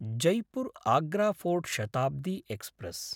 Jaipur Agra fort Shatabdi express